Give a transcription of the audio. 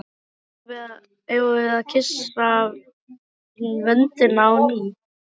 Eigum við að kyssa vöndinn á ný?